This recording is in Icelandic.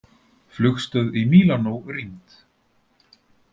Flugstöð í Mílanó rýmd